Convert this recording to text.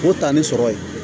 O ta ni sɔrɔ ye